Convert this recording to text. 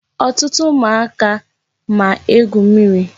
Ọtụtụ ụmụaka ma egwu mmiri.